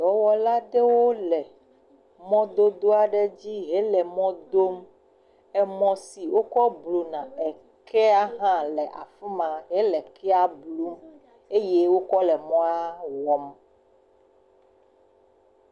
Dɔwɔla aɖewo le mɔdodoa ɖe dzi hele mɔdodoa dom, emɔ si wokɔ bluna ekea hã le afi ma hele ekea blum eye wokɔ le mɔa wɔm.